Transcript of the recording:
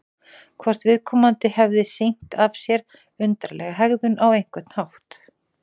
Hvort viðkomandi hefði sýnt af sér undarlega hegðun á einhvern hátt?